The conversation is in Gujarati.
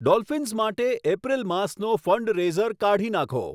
ડોલ્ફીન્સ માટે એપ્રિલ માસનો ફંડરેઈઝર કાઢી નાંખો